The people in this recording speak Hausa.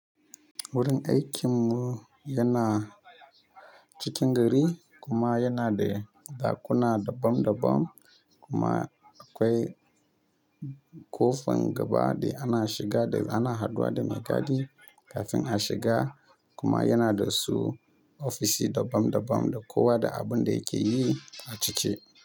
Wurin aikin mu yana cikin gari kuma yana da dakuna dabam dabam kuma akwai kofan gaba da ana shiga da ana haduwa da mai gadi kafin a shiga kuma yana da su ofishi dabam dabam da kowa da abin da yake yi a ciki.